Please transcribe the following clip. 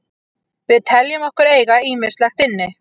Við teljum okkur eiga ýmislegt inni.